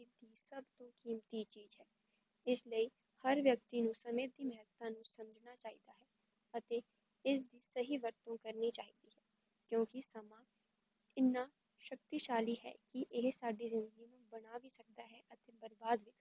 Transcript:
ਇਸ ਲਈ ਹਰ ਵਿਅਕਤ ਨੂੰ ਸਮੇ ਦੀ ਮੇਹਤਾਂ ਨੂੰ ਸਮਝਣਾ ਚਾਹੀਦਾ ਹੈ ਅਤੇ ਏਹ ਸਹੀ ਵਖਤ ਨੂ ਕਰਨੀ ਚਾਹੀਦੀ ਹੈ, ਕਿਉਂਕੀ ਸਮਾਂ ਇਨਾਂ ਸ਼ਕਤੀਸ਼ਾਲੀ ਹੈ ਕੀ ਏਹ ਸਾਡੀ ਜ਼ਿੰਦਗੀ ਨੂੰ ਬਣਾ ਵੀ ਸਕਦਾ ਹੈ ਬਰਬਾਦ